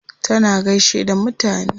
Tana gaishe da mutane.